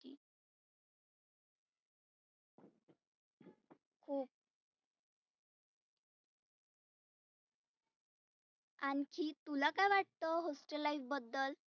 आनखी तुला काय वाटतं hostel life बद्दल.